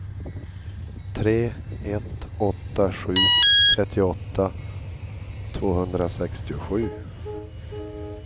tre ett åtta sju trettioåtta tvåhundrasextiosju